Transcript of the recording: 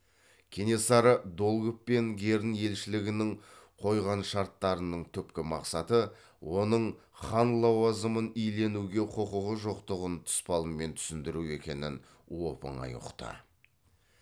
кенесары долгов пен герн елшілігінің қойған шарттарының түпкі мақсаты оның хан лауазымын иленуге құқығы жоқтығын тұспалмен түсіндіру екенін оп оңай ұқты